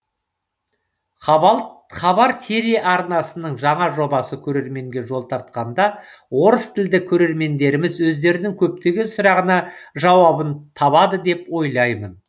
хабар телеарнасының жаңа жобасы көрерменге жол тартқанда орыс тілді көрермендеріміз өздерінің көптеген сұрағына жауабын табады деп ойлаймын